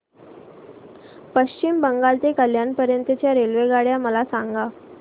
पश्चिम बंगाल ते कल्याण पर्यंत च्या रेल्वेगाड्या मला सांगा